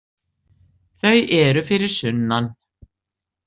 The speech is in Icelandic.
Þau eru fyrir sunnan.